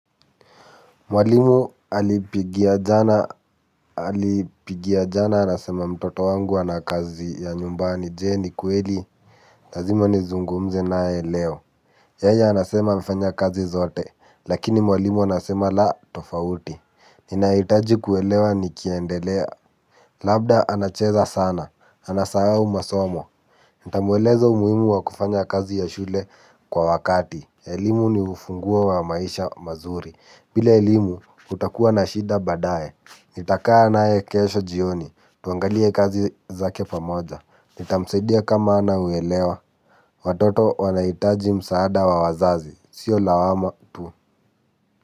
Mwalimu alipigia jana alipigia jana anasema mtoto wangu ana kazi ya nyumbani, je, ni kweli? Lazima nizungumze naye leo. Yeye anasema amefanya kazi zote lakini mwalimu anasema la tofauti. Ninahitaji kuelewa nikiendelea. Labda anacheza sana anasahau masomo. Nitamweleza umuhimu wa kufanya kazi ya shule kwa wakati. Elimu ni ufunguo wa maisha mazuri. Bila elimu utakuwa na shida baadaye. Nitakaa naye kesho jioni. Tuangalie kazi zake pamoja. Nitamsaidia kama hana uelewa. Watoto wanahitaji msaada wa wazazi. Sio lawama tu.